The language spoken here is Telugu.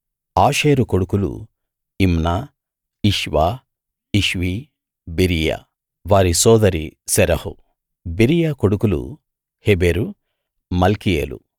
ఆషేరు కొడుకులు ఇమ్నా ఇష్వా ఇష్వీ బెరీయా వారి సోదరి శెరహు బెరీయా కొడుకులు హెబెరు మల్కీయేలు